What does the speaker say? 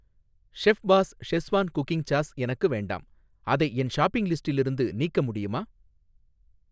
Chef's Schezwan cooking sauce எனக்கு வேண்டாம், அதை என் ஷாப்பிங் லிஸ்டிலிருந்து நீக்க முடியுமா?